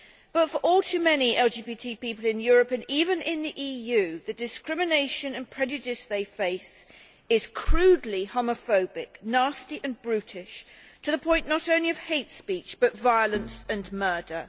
But for all too many LGBT people in Europe, and even in the EU, the discrimination and prejudice they face is crudely homophobic, nasty and brutish, to the point not only of hate speech, but violence and murder.